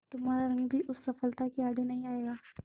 तुम्हारा रंग भी उस सफलता के आड़े नहीं आएगा